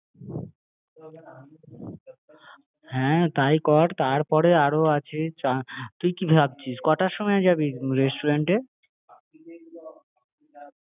দিচ্ছি হ্যাঁ তাই কর তারপরে আরও আছে তুই কি ভাবছিস? কটার সময় যাবি রেস্টুরেন্টে? আমি তোমরা